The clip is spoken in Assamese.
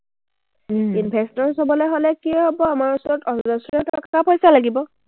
investors হ’বলে হ’লে কি হ’ব, আমাৰ ওচৰত অজশ্ৰ টকা-পইচা লাগিব।